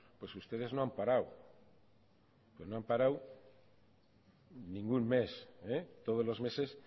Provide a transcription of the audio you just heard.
pues ustedes no han parado no han parado ningún mes todos los meses